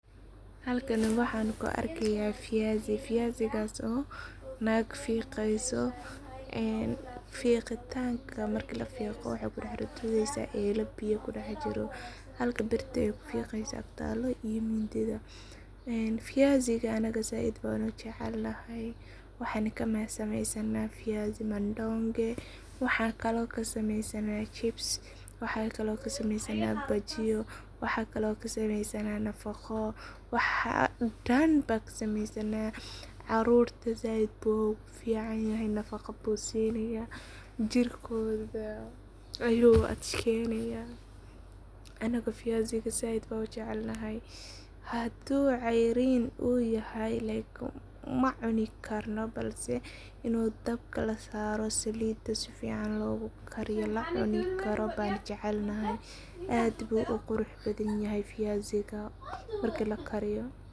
Halkani waxan ku arkaya fiyasi. Fiyasigas oo nag fiqeyso marki lafiqo waxey kudax ridesa eloo biyo kudex jiran halka birta ay kufiqeso agtalo mindida ,fiyasiga anga zaid ban u jecelnahay ,waxan kasameysana fiyasi madongey, jibs ,bajiyo .Waxan kalo kasameysana nafaqo .Carurta zaid bu ugu fican yahay nafaqo zaid bu sinaya ,jirku adkeynaya ,anaga fiyasiga zaid ban u jecel nahay hadu ceyrin yahay macuni karno balse inu dabka lasaro salida si fican logu kariyo oo u karo ban jecel nahay aad bu u qurux badan yahay fiyasiga marka lakariyo.